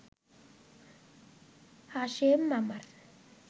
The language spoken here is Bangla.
হাশেম মামার